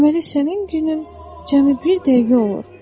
Deməli sənin günün cəmi bir dəqiqə olur.